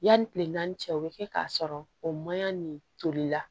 Yanni kile naani cɛ o bɛ kɛ k'a sɔrɔ o maɲi nin toli la